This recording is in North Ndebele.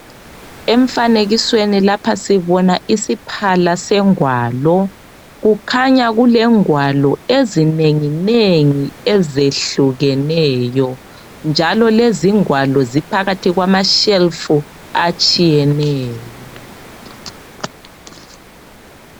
Emfanekisweni lapha sibona isiphala sengwalo .Kukhanya kulengwalo ezinenginengi ezehlukeneyo njalo lezi ingwalo ziphakathi kwamashelufu atshiyeneyo.